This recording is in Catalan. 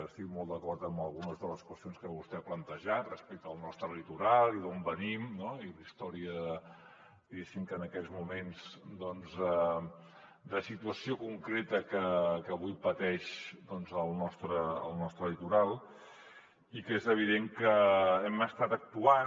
estic molt d’acord amb algunes de les qüestions que vostè ha plantejat respecte al nostre litoral i d’on venim i la història diguéssim en aquests moments de la situació concreta que avui pateix el nostre litoral i que és evident que hem estat actuant